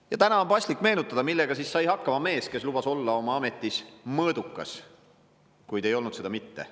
Ja täna on paslik meenutada, millega siis sai hakkama mees, kes lubas olla oma ametis mõõdukas, kuid ei olnud seda mitte.